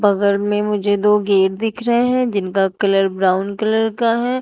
बगल में मुझे दो गेट दिख रहे हैं जिनका कलर ब्राउन कलर का है।